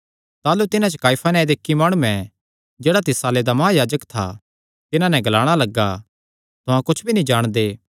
ताह़लू तिन्हां च काइफा नांऐ दे इक्की माणुयैं जेह्ड़ा तिस साल्ले दा महायाजक था तिन्हां नैं ग्लाणा लग्गा तुहां कुच्छ भी नीं जाणदे